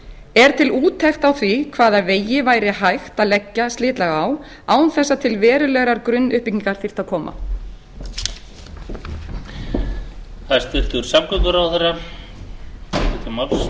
er til úttekt á því hvaða vegi væri hægt að leggja slitlag á án þess að til verulegrar grunnuppbyggingar þyrfti að koma